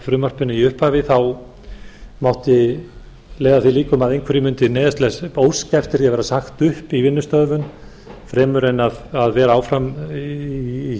breytingunum í upphafi þá mátti leiða að því liður að einhverjir mundu óska eftir því takt upp í vinnustöðum fremur en vera áfram í